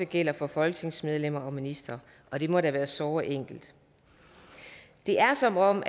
gælder for folketingsmedlemmer og ministre og det må da være såre enkelt det er som om